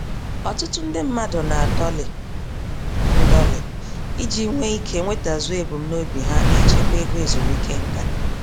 Ọtụtụ ndị mmadụ na-adọlị ndọlị iji nwee ike nwetazuo ebum nobi ha nichekwa ego ezumike nká.